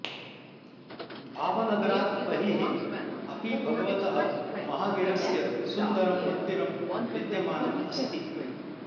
भावनगरात् बहिः अपि भगवतः महावीरस्य सुन्दरं मन्दिरं विद्यमानम् अस्ति